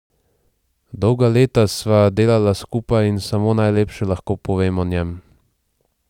Dolga leta sva delala skupaj in samo najlepše lahko povem o njem.